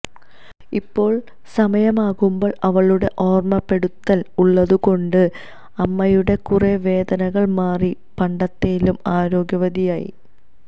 ഇപ്പോൾ സമയമാകുമ്പോൾ അവളുടെ ഓർമപ്പെടുത്തൽ ഉള്ളതുകൊണ്ട് അമ്മയുടെ കുറെ വേദനകൾ മാറി പണ്ടത്തെലും ആരോഗ്യവതിയായി